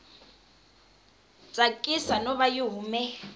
tsakisi no va yi hume